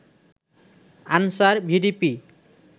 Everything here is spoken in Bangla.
answer, VDP